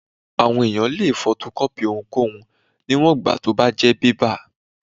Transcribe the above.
Àwọn èèyàn lè fotokọ́pì ohunkóhun níwòn ìgbà tó bá tí jẹ́ bébà